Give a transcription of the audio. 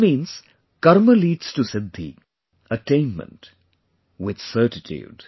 This means Karma leads to Siddhi, attainment with certitude